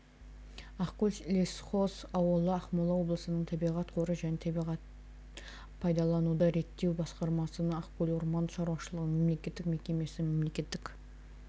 ақкөл лесхоз ауылы ақмола облысының табиғат қоры және табиғат пайдалануды реттеу басқармасының ақкөл орман шаруашылығының мемлекеттік мекемесі мемлекеттік